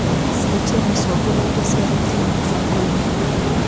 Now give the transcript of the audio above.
Cenjia mĩcongo na indo cia thitima mũbango-inĩ.